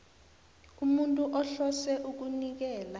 umuntu ohlose ukunikela